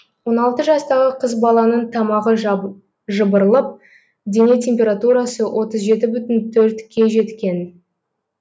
он алты жастағы қыз баланың тамағы жыбырлып дене температурасы отыз жеті бүтін төртке жеткен